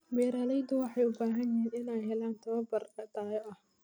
Beeraleydu waxay u baahan yihiin inay helaan tababar tayo leh.